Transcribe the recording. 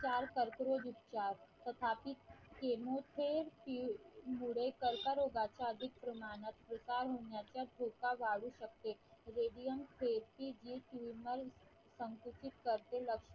उपचार कर्करोग उपचार तथा पिथ केमोचे मुळे कर्करोगाचा अधिक प्रमाणात विकास होऊन जातात धोका वाढू शकते radians toomer संकुपीत करते.